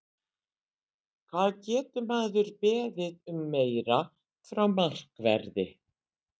Hvað getur maður beðið um meira frá markverði?